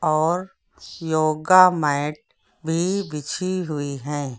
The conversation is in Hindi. और योगा मैट भी बिछी हुई है।